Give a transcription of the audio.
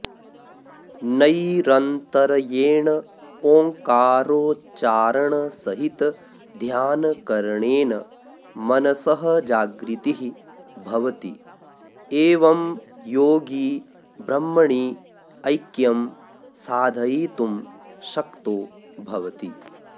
नैरन्तर्येण ओंकारोच्चारणसहितध्यानकरणेन मनसः जागृतिः भवति एवं योगी ब्रह्मणि ऐक्यं साधयितुं शक्तो भवति